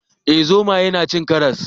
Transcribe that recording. Eh zomaye na cin karas